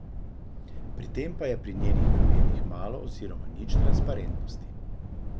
Pri tem pa je pri njenih namenih malo oziroma nič transparentnosti.